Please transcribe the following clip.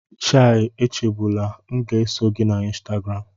Chai Echegbula!, m ga-eso gị na Instagram